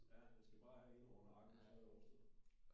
Ja den skal bare have en over nakken og så er det overstået